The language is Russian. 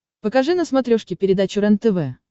покажи на смотрешке передачу рентв